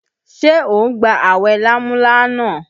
Ṣé o ń gba awẹ lámúlánà?